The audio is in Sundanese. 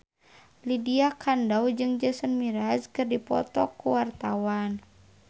Lydia Kandou jeung Jason Mraz keur dipoto ku wartawan